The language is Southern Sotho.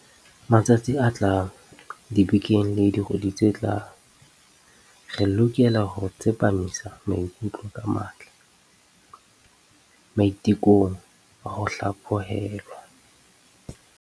Matsatsing a tlang, dibekeng le dikgweding tse tlang, re lokela ho tsepamisa maikutlo ka matla maite kong a ho hlaphohelwa.